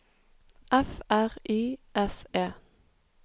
F R Y S E